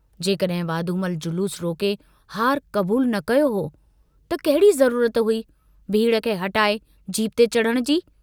जेकडुहिं वाधूमल जलूस रोके हारु कबूल न कयो हो त कहिड़ी ज़रूरत हुई भीड़ खे हटाए जीप ते चढ़ण जी?